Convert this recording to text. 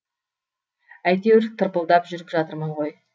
әйтеуір тырпылдап жүріп жатырмын ғой